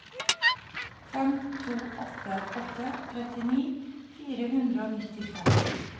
fem to åtte åtte trettini fire hundre og nittifem